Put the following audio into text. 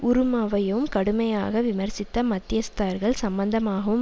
உறுமயவும் கடுமையாக விமர்சித்த மத்தியஸ்தர்கள் சம்பந்தமாகவும்